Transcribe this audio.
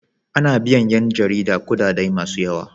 Ana biyan yan jarida kudade masu yawa.